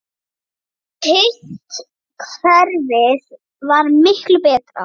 Hitt kerfið var miklu betra.